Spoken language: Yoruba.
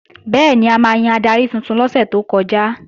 Bẹ́ẹ̀ni, a máa yan adarí tuntun lọ́sẹ̀ tó kọjá